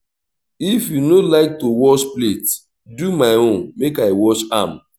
if you no like to wash plate do my own make i wash am